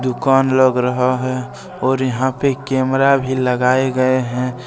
दुकान लग रहा है और यहां पे एक कैमरा भी लगाए गए हैं।